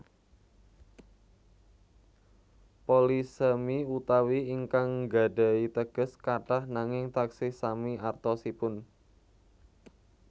Polisemi utawi ingkang nggadhahi teges kathah nanging taksih sami artosipun